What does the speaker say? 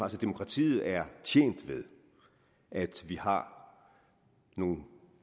at demokratiet er tjent med at vi har nogle